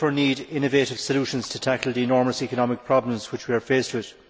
We therefore need innovative solutions to tackle the enormous economic problems we are faced with.